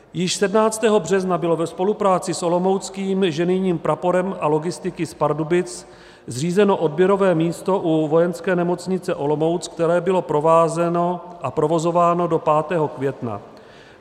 Již 17. března bylo ve spolupráci s olomouckým ženijním praporem a logistiky z Pardubic zřízeno odběrové místo u Vojenské nemocnice Olomouc, které bylo provázeno a provozováno do 5. května.